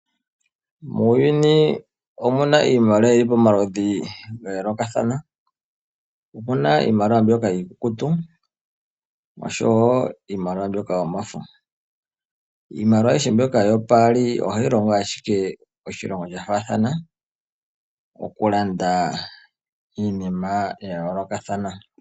Muuyuni omuna iimaliwa omaludhi ga yoolokathana, omuna iimaliwa mbyoka iikukutu oshowoo yomafo . Iimaliwa mbyoka yopaali ohayi longo iilonga ya faathana okulanda iinima ya yoolokathana.